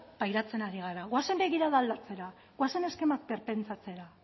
pairatzen ari gara goazen begirada aldatzera goazen eskema berpentsatzera